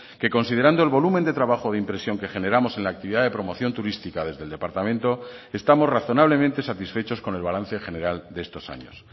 que considerando el volumen de trabajo de impresión que generamos en la actividad de promoción turística desde el departamento estamos razonablemente satisfechos con el balance general de estos años